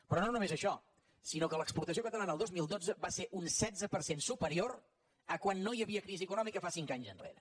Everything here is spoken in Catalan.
però no només això sinó que l’exportació catalana el dos mil dotze va ser un setze per cent superior de quan no hi havia crisi econòmica cinc anys enrere